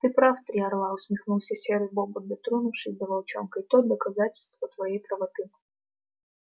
ты прав три орла усмехнулся серый бобр дотронувшись до волчонка и тот доказательство твоей правоты